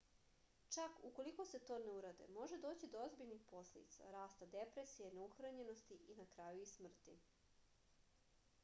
čak ukoliko se to ne uradi može doći do ozbiljnih posledica rasta depresije neuhranjenosti i na kraju i smrti